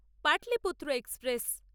Pataliputra express